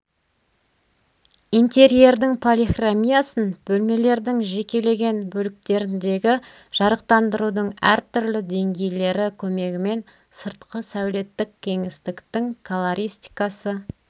интерьердің полихромиясын бөлмелердің жекеленген бөліктеріндегі жарықтандырудың әртүрлі деңгейлері көмегімен сыртқы сәулеттік кеңістіктің колористикасы